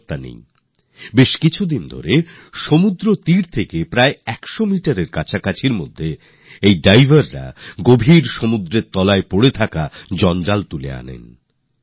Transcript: গত কয়েকদিন এই ডুবুরিরা তীর থেকে ১০০ মিটার ভিতরে গিয়ে গিয়ে গভীর সমুদ্রে ডুব দিচ্ছেন আর সেখানে জমে থাকা আবর্জনা বাইরে নিয়ে আসছেন